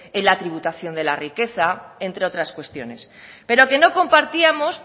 en la tributación de la riqueza entre otras cuestiones pero que no compartíamos